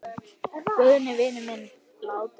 Guðni vinur minn er látinn.